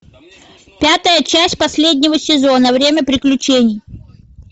пятая часть последнего сезона время приключений